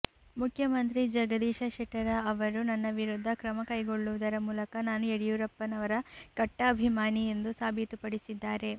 ಮುಖ್ಯಮಂತ್ರಿ ಜಗದೀಶ ಶೆಟ್ಟರ ಅವರು ನನ್ನ ವಿರುದ್ಧ ಕ್ರಮ ಕೈಗೊಳ್ಳುವುದರ ಮೂಲಕ ನಾನು ಯಡಿಯೂರಪ್ಪನವರ ಕಟ್ಟಾ ಅಭಿಮಾನಿ ಎಂದು ಸಾಬೀತುಪಡಿಸಿದ್ದಾರೆ